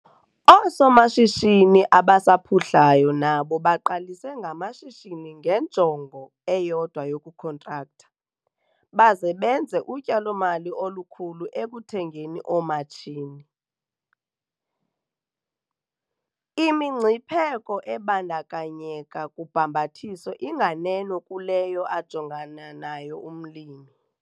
Oosomashishini asaphuhlayo nabo baqalise ngamashishini ngenjongo eyodwa yokukhontraktha, baze benze utyalo-mali olukhulu ekuthengeni oomatshini. Imingcipheko ebandakanyeka kubhambathiso inganeno kuleyo ajongana nayo umlimi.